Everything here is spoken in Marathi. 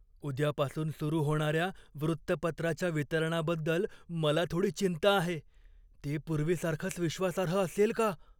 उद्यापासून सुरू होणाऱ्या वृत्तपत्राच्या वितरणाबद्दल मला थोडी चिंता आहे. ते पूर्वीसारखंच विश्वासार्ह असेल का?